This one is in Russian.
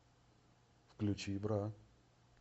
включи бра